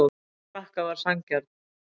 Sigur Frakka var sanngjarn